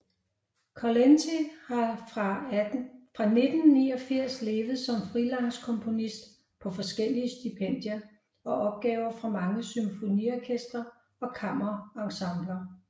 Kulenty har fra 1989 levet som freelance komponist på forskellige stipendier og opgaver fra mange symfoniorkestre og kammerensembler